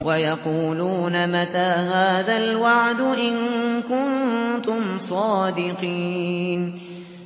وَيَقُولُونَ مَتَىٰ هَٰذَا الْوَعْدُ إِن كُنتُمْ صَادِقِينَ